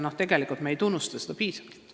Me ei tunnusta neid piisavalt.